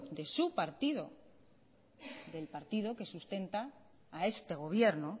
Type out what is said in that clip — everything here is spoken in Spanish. de su partido del partido que sustenta a este gobierno